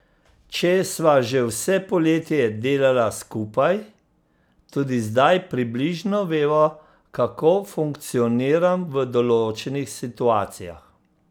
Če sva že vse poletje delala skupaj, tudi zdaj približno veva, kako funkcioniram v določenih situacijah.